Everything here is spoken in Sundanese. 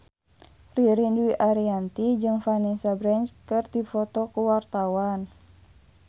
Ririn Dwi Ariyanti jeung Vanessa Branch keur dipoto ku wartawan